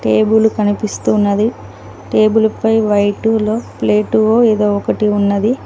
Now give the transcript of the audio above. Table కనిపిస్తూ ఉన్నది table పై వైటులో ప్లేటో ఏదో ఒకటి ఉన్నది.